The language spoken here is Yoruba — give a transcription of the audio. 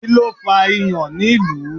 Kíló fà ìyàn nílùú?